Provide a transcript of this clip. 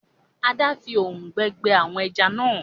Ada! fí òòrùn gbẹ àwọn ejá nà.